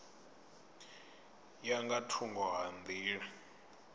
ya nga thungo ha nḓila